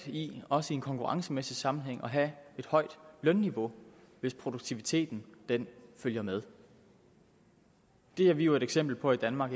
i også i en konkurrencemæssig sammenhæng at have et højt lønniveau hvis produktiviteten følger med det er vi jo et eksempel på i danmark